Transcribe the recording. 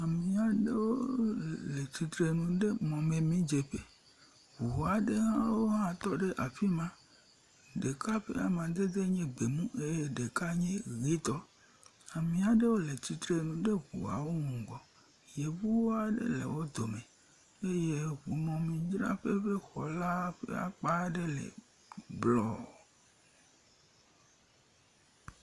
ɖeviaɖewo le tsitrenu ɖe mɔmɛmi dzeƒe ʋu aɖewo hã wótɔ ɖe afima ɖeka ƒa madede nye gbɛmu eye ɖeka nye yitɔ ami. aɖewo le tsitre ɖe ʋuawo ŋgɔ yevuaɖe lɛ wodome eye wonɔ amidraƒe ƒe xɔla ƒa kpaɖe lɛ blɔ